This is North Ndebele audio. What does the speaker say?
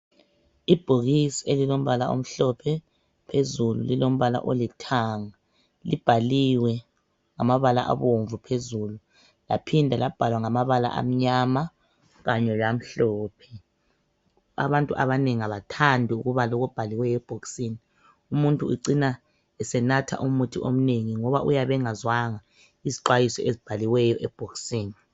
Ibhokisi elilombala omhlophe phezulu lilombala olithanga, libhaliwe ngamabala abomvu phezulu laphinda labhalwa ngamabala amnyama kanye lamhlophe. Abantu abanengi abathandi ukubala okubhaliweyo ebhoksini umuntu ucina esenatha umuthi omnengi ngoba uyabe engazwanga izixwayiso ezibhaliweyo ebhoksini.